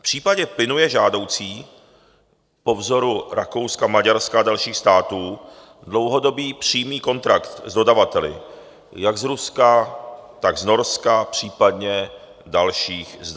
V případě plynu je žádoucí po vzoru Rakouska, Maďarska a dalších států dlouhodobý přímý kontrakt s dodavateli jak z Ruska, tak z Norska, případně z dalších zemí.